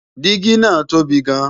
́dígí ńáà tóbi gan-n